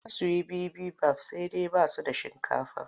Za su yi bibimbaf sai dai ba su da shinkafa.